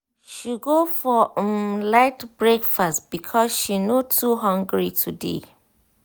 she go for um light breakfast because she no too hungry today. um